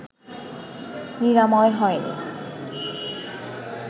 নিরাময় হয়নি